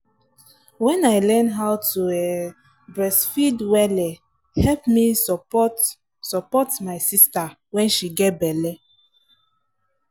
when i learn how to um breastfeed welle help me support support my sister when she get belle.